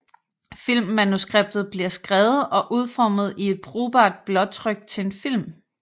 Filmmanuskriptet bliver skrevet og udformet i et brugbart blåtryk til en film